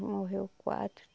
Morreu quatro.